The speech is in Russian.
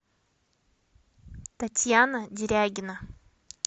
татьяна дерягина